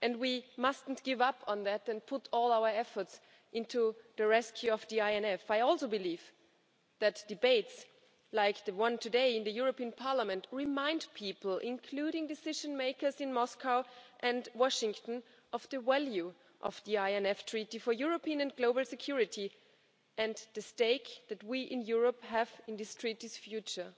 We mustn't give up on that, and must put all our efforts into the rescue of the INF. I also believe that debates like the one today in the European Parliament remind people, including decision makers in Moscow and Washington, of the value of the INF Treaty for European and global security and the stake that we in Europe have in this treaty's future.